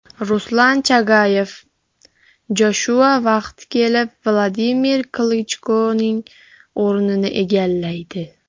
Ruslan Chagayev: Joshua vaqti kelib Vladimir Klichkoning o‘rnini egallaydi.